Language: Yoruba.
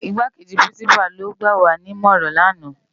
Igákéji Pirinsipá ló gbáwá ni imòrán làná